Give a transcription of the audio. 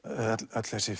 öll þessi